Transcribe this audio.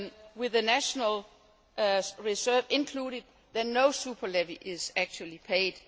quota, with the national reserve included, then no super levy is actually